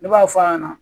Ne b'a f'a ɲɛna